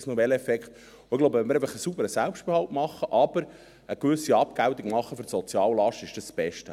Ich glaube, wenn wir einen sauberen Selbstbehalt, aber eine gewisse Abgeltung für die Soziallast machen, ist dies das Beste.